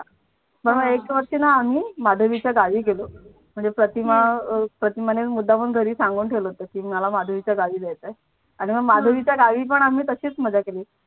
मग एक वर्षी ना आम्ही माधवीच्या गावी गेलो म्हणजे प्रतिमा, प्रतिमा ने मुदामुन घरी सांगून ठेवलं होतं मला माधवीच्या गावी जायचंय आणि मग माधवीच्या गावी पण आम्ही तशीच मजा केली.